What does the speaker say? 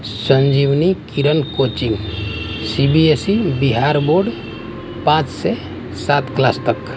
संजीवनी Kiran coaching C B S E Bihar board पांच से सात क्लास तक--